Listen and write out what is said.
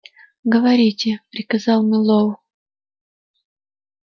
говорите приказал мэллоу